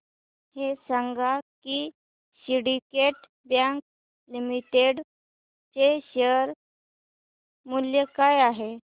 हे सांगा की सिंडीकेट बँक लिमिटेड चे शेअर मूल्य काय आहे